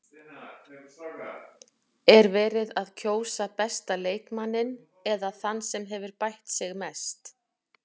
Er verið að kjósa besta leikmanninn eða þann sem hefur bætt sig mest?